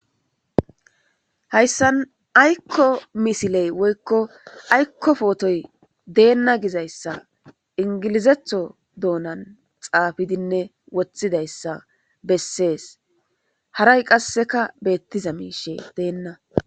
hayssan aykko misiley woykko aykko pootoy deenna gizayssa ingilizetho doonan xaafidinne woththidayssa bessees haray qasseka beettiza miishe deenna